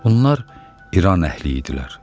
Bunlar İran əhli idilər.